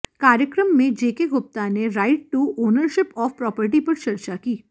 कार्यक्रम में जेके गुप्ता ने right to ownership of property पर चर्चा की